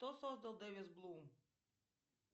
что создал дэвис блум